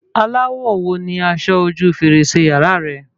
Aláwọ̀ wo ni aṣọ ojú fèrèsé yàrá rẹ?